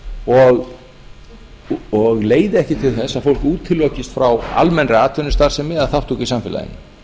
og leiði ekki til þess að fólk útilokist frá almennri atvinnustarfsemi eða þátttöku í samfélaginu